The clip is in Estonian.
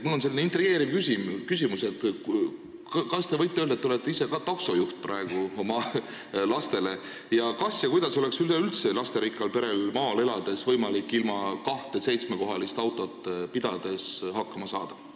Mul on selline intrigeeriv küsimus: kas te võite öelda – te olete ka ise praegu taksojuht oma lastele –, kas ja kuidas oleks üleüldse lasterikkal perel maal elades võimalik ilma kahte seitsmekohalist autot pidamata hakkama saada?